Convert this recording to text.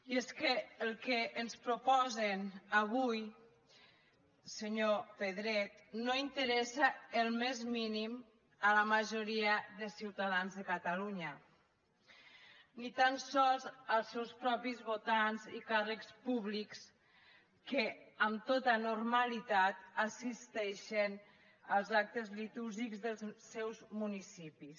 i és que el que ens proposen avui senyor pedret no interessa el més mínim a la majoria de ciutadans de catalunya ni tan sols als seus propis votants i càrrecs públics que amb tota normalitat assisteixen als actes litúrgics dels seus municipis